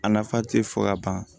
A nafa tɛ fɔ ka ban